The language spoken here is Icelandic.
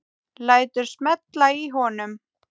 Lætur smella í honum.